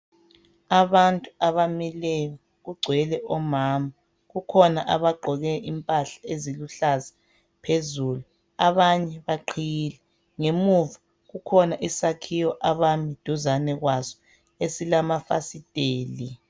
Abantu abamileyo kugcwele omama kukhona abagqoke impahla eziluhlaza abanye baqhiyile ngemuva kukhona isakhiwo duzane kwaso esilamafasitela